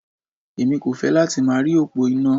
Èmi kò fẹ́ láti máa rí òpó iná.